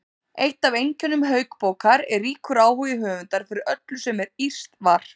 Eitt af einkennum Hauksbókar er ríkur áhugi höfundar fyrir öllu sem írskt var.